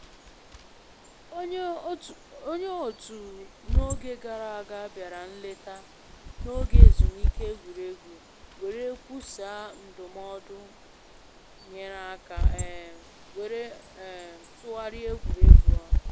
Onye otu na oge gara aga bịara nleta na oge ezumike egwuregwu, were kwusaa ndụmọdụ nyere aka um were um tụgharịa egwuregwu ahụ